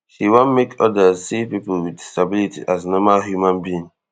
she wan make odas see pipo wit disability as normal human being